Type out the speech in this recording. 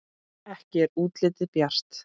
Ekki er útlitið bjart!